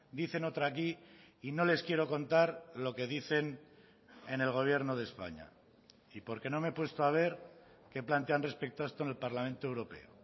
dicen otra aquí y no les quiero contar lo que dicen en el gobierno de españa y porque no me he puesto a ver qué plantean respecto a esto en el parlamento europeo